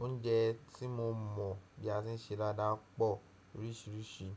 Oúnjẹ tí mo mọ̀ bí a ṣe ń ṣe dáadáa pọ̀ oríṣiríṣi.